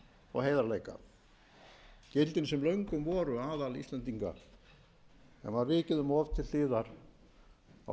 og heiðarleika gildin sem löngum voru aðal íslendinga en var vikið til hliðar á